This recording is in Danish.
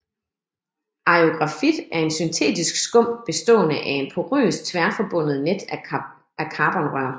Aerografit er en syntetisk skum bestående af en porøs tværforbundet net af carbonrør